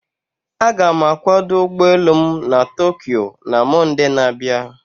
Aga m akwado ụgbọ elu m na Tokyo na Mọnde na-abịa.